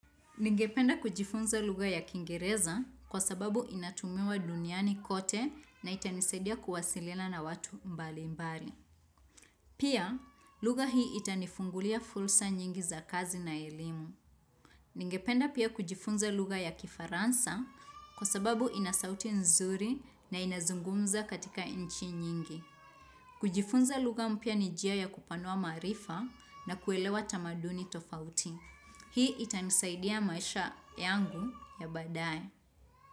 Ningependa kujifunza lugha ya kingereza kwa sababu inatumiwa duniani kote na itanisaidia kuwasiliana watu mbali mbali. Pia lugha hii itanifungulia fursa nyingi za kazi na elimu. Ningependa pia kujifunza lugha ya kifaransa kwa sababu inasauti nzuri na inazungumzwa katika nchi nyingi. Kujifunza lugha mpya ni njia ya kupanua maarifa na kuelewa tamaduni tofauti. Hii itanisaidia maisha yangu ya baadaye.